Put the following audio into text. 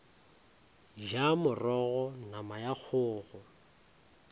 ja morogo nama ya kgogo